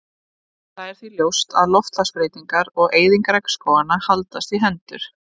Það er því ljóst að loftslagsbreytingar og eyðing regnskóganna haldast í hendur.